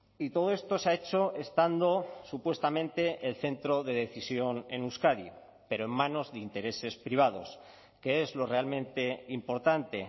y todo esto se ha hecho estando supuestamente el centro de decisión en euskadi pero en manos de intereses privados que es lo realmente importante